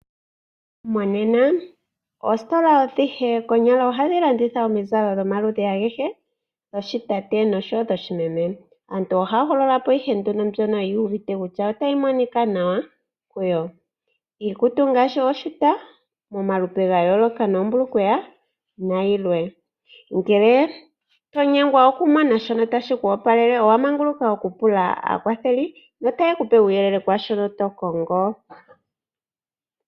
Monena oostola adhihe konyala ohadhi landitha omizalo dhomaludhi agehe giikutu yoshitate oshowoo dhoshimeme, aantu ohaahogolola po mbyoka yuuvite kutya otayi monika nawa kuyo. Iikutu ngaashi ooshuta momalupe gayooloka noombulukweya nayilwe, ngele tonyengwa okumona shoka tashi ku opalele owa manguluka okupula aakwatheli notaye kupe uuyelele kwaashono tokongo.